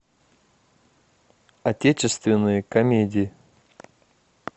отечественные комедии